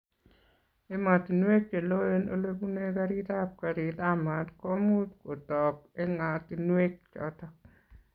Ematinwek che loen ole pune oret ab garit ab mat ko much kotog eng'atinwek chotok